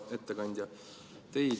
Hea ettekandja!